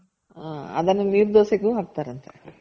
ಹ ಅದನ್ನ ನೀರ್ ದೋಸೆಗೂ ಹಾಕ್ತಾರಂತೆ